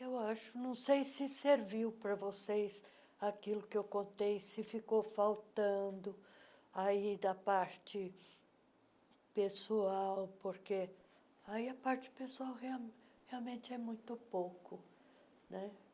Eu acho, não sei se serviu para vocês aquilo que eu contei, se ficou faltando aí da parte pessoal, porque aí a parte pessoal real realmente é muito pouco, né?